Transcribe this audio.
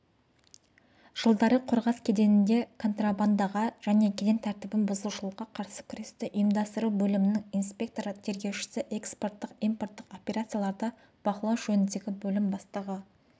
жылдары қорғас кеденінде контрабандаға және кеден тәртібін бұзушылыққа қарсы күресті ұйымдастыру бөлімінің инспекторы-тергеушісі экспорттық-импорттық операцияларды бақылау жөніндегі бөлім бастығы